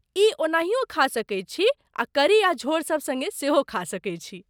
ई ओनाहियो खा सकैत छी आ करी आ झोर सभ सङ्गे सेहो खा सकैत छी।